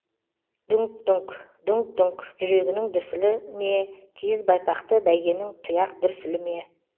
дүңк дүңк дүңк дүңк жүрегінің дүрсілі ме киіз байпақты бәйгенің тұяқ дүрсілі ме